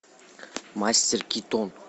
мастер китон